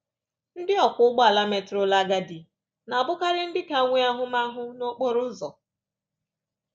Ndị ọkwọ ụgbọala metụrụla agadi na-abụkarị ndị ka nwee ahụmahụ n’okporo ụzọ.